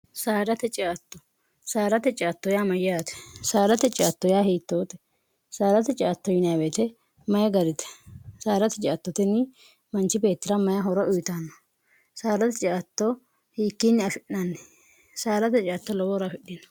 sarate ciatto saarate ciatto yaa mayyaate saarate ciatto yaa hiittoote saarate ciatto yinaaweete mayi garite saarate ciattotinni manchi beettira maye horo uyitaanno saarate ciatto hiikkiinni afi'nanni saarate ciatto lowoora afidhino